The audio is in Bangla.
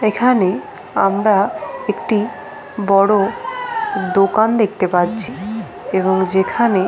এখানে আমরা একটি বড় দোকান দেখতে পাচ্ছি এবং যেখানে --